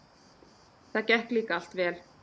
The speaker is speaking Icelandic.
Það gekk líka allt vel.